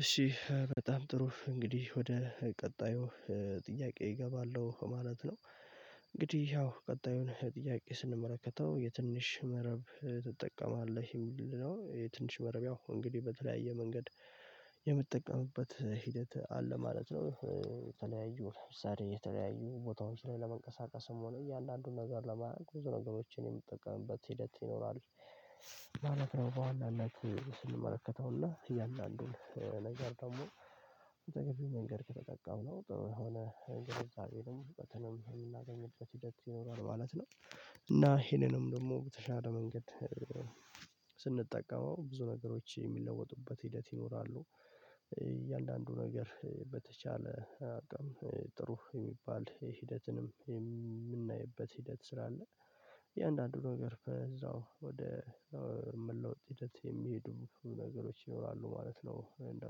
እሺ በጣም ጥሩ እንግዲህ ወደ ቀጣዩ ጥያቄ እገባለሁ ማለት ነው። እንግዲህ ያው ቀጣዩን ጥያቄ ስንመለከተው የትንሽ መረብ ትጠቀማለህ የሚል ነው የትንሽ መረብ ያው እንግዲህ በተለያየ መንገድ የምጠቀምበት ሂደት አለ ማለት ነው። የተለያዩ ለምሳሌ የተለያዩ ቦታዎች ላይ ለመንቀሳቀስም ሆነ እያንዳንዱን ነገር ለማድረግ ብዙ ነገሮችን የምጠቀምበት ሂደት ይኖራል ማለት ነው። በዋና ነት ስንመለከተው እና እያን ዳንዱን ነገር ደግሞ በተገቢ መንገድ ከተጠቀምነው ነው በሆነ እንግዲህ ግንዛቤንም እውቀትንም የምናገኝበት ሂደት ይኖራል ማለት ነው። እና ይሄንንም ደግሞ በተሻለ መንገድ ስንጠቀመው ብዙ ነገሮች የሚለወጡበት ሂደት ይኖራሉ። እያንዳንዱ ነገር በተቻለ አቅም ጥሩ የሚባል ሂደትንም የምናይበት ሂደት ስላለ አንዳንዱ ነገር እዛው ወደ መለወጥ ሂደት የሚሄዱ ነገሮች ይኖራሉ ማለት ነው። እንደ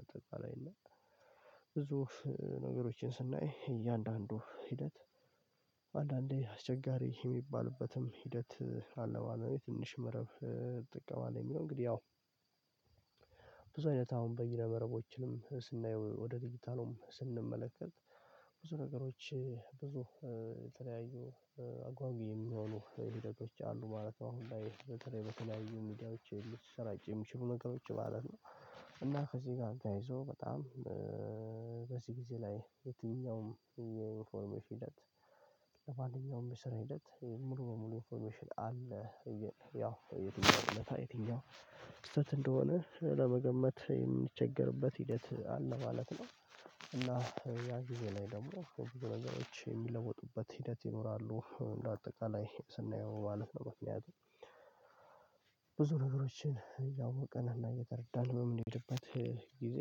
አጠቃላይ እና ብዙ ነገሮችን ስናይ እያንዳንዱ ሂደት አንዳንዴ አስቸጋሪ የሚባልበትም ሂደት አለ ባለበት ትንሽ መረብ ትጠቀማለህ የሚለው እንግዲህ ያው ብዙ አይነት አሁን በይረ መረቦችንም ስናየው ወደ ድጅታሉም ስንመለከት ብዙ ነገሮች ብዙ የተለያዩ አጓጊ የሚሆኑ ሂደ ቶች አሉ ማለት ነው። አሁን ላይ በተለይ በተለያዩ ሚዲያዎች ሊሰራጩ የሚችሉ ነገሮች ማለት ነው። ከዚህ ጋር ተያይዞ በጣም በዚህ ጊዜ ላይ የትኛውም የዩኒፎርሜሽ ሂደት ለማንኛውም የስራ ሂደት ሙሉ በሙሉ ኢንፎርሜሽን አለ እየ ያው የትኛውም ውለታ ስህተት እንደሆነ ለመገመት የምንቸገርበት ሂደት አለ ማለት ነው። እና ያ ጊዜ ላይ ደግሞ በብዙ ነገሮች የሚለወጡበት ሂደት ይኖራሉ እንደ አጠቃላይ ስናየው ማለት ነው። ምክንያቱም ብዙ ነገሮችን እያወቅን እና እየተረዳን በምንሄድበት ጊዜ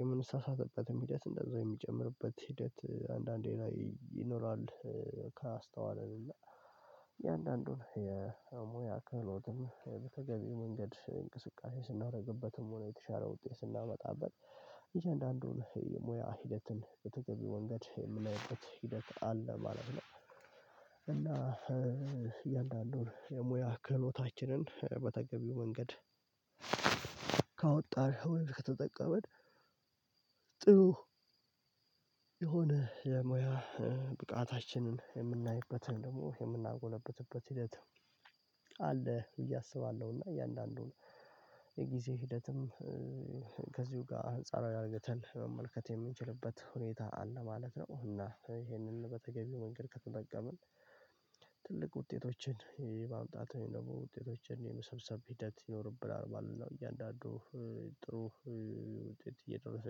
የምንሳሳትበትም ሂደት እንደዛው የሚጨምርበት ሂደት አንዳንዴ ላይ ይኖራል። ካስተዋለን እያንዳንዱን የሙያ ክህሎትም በተገቢው መንገድ እንቅስቃሴ ስናደርግበትም ሆነ የተሻለ ውጤት ስናመጣበት አያንዳንዱን የሙያ ሂደትን በተገቢ መንገድ የምናየው ሂደት አለ ማለት ነው። እና እያንዳንዱን የሙያ ክህሎታችንን በተገቢው መንገድ ካወጣን ወይም ከተጠቀመን ጥሩ የሆነ የሙያ ብቃታችንን የምናይበትን ደግሞ የምናጎለብትበት ሂደት አለ ብዬ አስባለሁና እያንዳንዱን የጊዜ ሂደትም ከዚሁ ጋር አንጻራዊ አድርገን መመልከት የምንችልበት ሁኔታ አለ ማለት ነው። እና ይሄንን በተገቢው መንገድ ከተጠቀምን ትልቅ ውጤቶችን የማምጣት ወይም ደግሞ ውጤቶችን የመሰብሰብ ሂደት ይኖርብናል ማለት ነው። እያንዳንዱ ጥሩ ውጤት እየደረሰ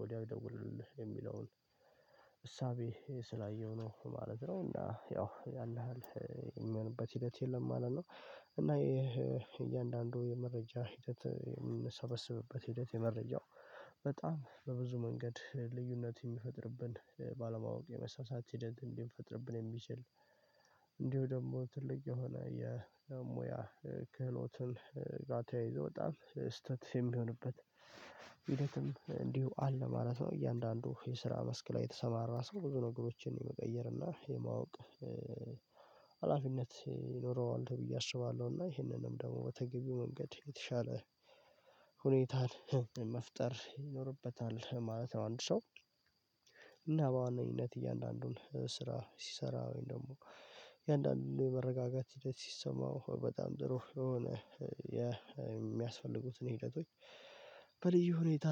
ወዲያው ይደውለልህ የሚለውን እሳቤ ስላየሁ ነው ማለት ነው እና ያው ያን ያሀል የሚሆንበት ሂደት የለም ማለት ነው። እና ይሄ እያንዳንዱ የመረጃ ሂደት የምንሰበስብበት ሂደት የመረጃው በጣም በብዙ መንገድ ልዩነት የሚፈጥርብን ባለማወቅ የመሳሳት ሂደት ሊፈጥርብን የሚችል እንዲሁ ደግሞ ትልቅ የሆነ የሙያ ክህሎትን ጋር ተያይዞ በጣም ስህተት የሚሆንበት እንዲሁ አለ ማለት ነው። እያንዳንዱ የስራ መስክ ላይ የተሰማራ ሰው ብዙ ነገሮችን የመቀየርና የማወቅ ሀላፊነት ይኖረዋል ብዬ አስባለሁ እና ይሄንንም ደግሞ በተገቢው መንገድ የተሻለ ሁኔታን መፍጠር ይኖርበታል ማለት ነው። አንድ ሰው እና በዋነኝነት እያንዳንዱን ስራ ሲሰራ ወይም ደግሞ እያንዳንዱን መረጋጋት ሂደት ሲሰማው በጣም ጥሩ የሆነ የሚያስፈልጉትን ሂደቶች በልዩ ሁኔታ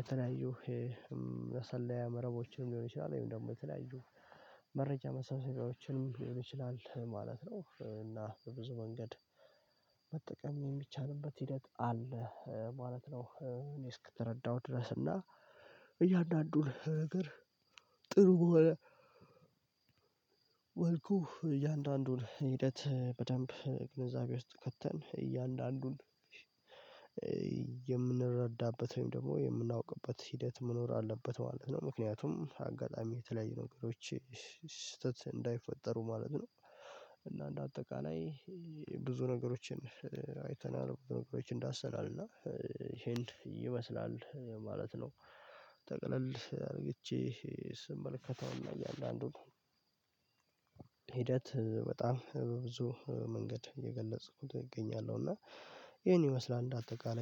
የተለያዩ መሰለያ መረቦችንም ሊሆን ይችላል ወይም ደግሞ የተለያዩ መረጃ መሳሰቢያዎችን ሊሆን ይችላል ማለት ነው። እና በብዙ መንገድ መጠቀም የሚቻልበት ሂደት አለ ማለት ነው። እኔ እስክተረዳው ድረስ እና እያንዳንዱ ነገር ጥሩ በሆነ መልኩ እያንዳንዱን ሂደት በደንብ ግንዛቤ ውስጥ ከተን እያንዳንዱን የምንረዳበት ወይም ደግሞ የምናውቅበት ሂደት መኖር አለበት ማለት ነው። ምክንያቱም አጋጣሚ የተለያዩ ነገሮች ስህተት እንዳይፈጠሩ ማለት ነው። እና እንደ አጠቃላይ ብዙ ነገሮችን አይተናል ነገሮችን ዳሰናልና ይሄን ይመስላል ማለት ነው። ጠቅለል አድርጌ ስመልከታውና እያን ዳንዱን ሂደት በጣም በብዙ መንገድ እየገለጽኩት እገኛለሁ እና ይሄን ይመስላል እንደ አጠቃላይ